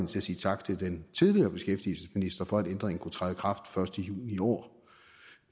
til at sige tak til den tidligere beskæftigelsesminister for at ændringen kunne træde i kraft den første juni i år